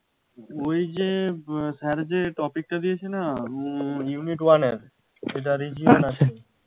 ওই যে আহ sir যে topic টা দিয়েছে না উম Unit one এর সেটার Region আসেনি